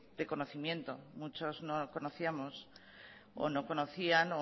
de conocimiento muchos no conocíamos o no conocían